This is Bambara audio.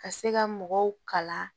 Ka se ka mɔgɔw kala